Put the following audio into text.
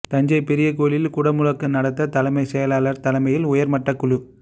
தஞ்சை பெரிய கோயிலில் குடமுழுக்கு நடத்த தலைமை செயலாளர் தலைமையில் உயர்மட்டக் குழு